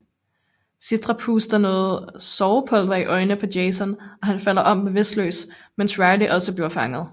Citra puster noget sovepulver i øjnene på Jason og han falder om bevidstløst mens Riley også bliver fanget